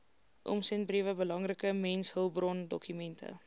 omsendbriewe belangrike mensehulpbrondokumente